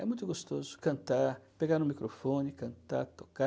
É muito gostoso cantar, pegar no microfone, cantar, tocar.